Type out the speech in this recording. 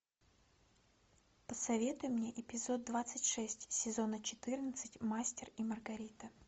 посоветуй мне эпизод двадцать шесть сезона четырнадцать мастер и маргарита